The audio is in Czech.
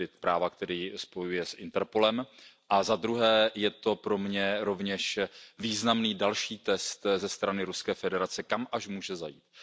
tedy práva, které jej spojuje s Interpolem, a zadruhé je to pro mě rovněž významný další test ze strany Ruské federace, kam až může zajít.